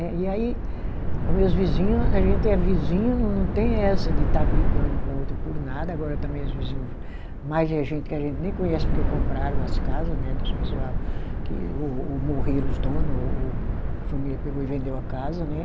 E aí, o meus vizinho, a gente é vizinho, não não tem essa de estar brigando um com o outro por nada, agora também os vizinho, mais é gente que a gente nem conhece porque compraram as casa né dos pessoal que, ou ou morreram os dono, ou a família pegou e vendeu a casa, né?